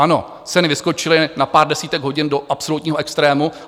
Ano, ceny vyskočily na pár desítek hodin do absolutního extrému.